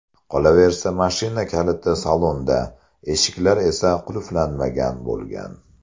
Qolaversa, mashina kaliti salonda, eshiklar esa qulflanmagan bo‘lgan.